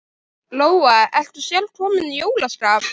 Lóa: Ertu sjálf komin í jólaskap?